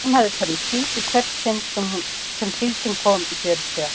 Hún hafði farið í síld í hvert sinn sem síldin kom í fjörutíu ár.